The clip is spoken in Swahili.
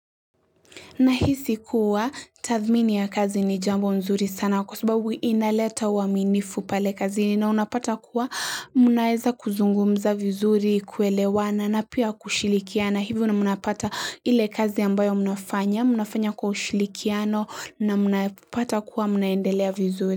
Nahisi kuwa tathmini ya kazi ni jambo mzuri sana kwa sababu inaleta uaminifu pale kazini na unapata kuwa mnaweza kuzungumza vizuri kuelewana na pia kushirikiana hivyo mnapata ile kazi ambayo mnafanya, mnafanya kwa ushirikiano na mnapata kuwa mnaendelea vizuri.